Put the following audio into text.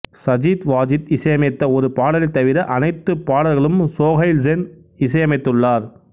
சஜித்வாஜித் இசையமைத்த ஒரு பாடலைத் தவிர அனைத்து பாடல்களும் சோஹைல் சென் இசையமைத்துள்ளார்